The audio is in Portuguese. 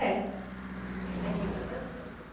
É. Tem muita dança?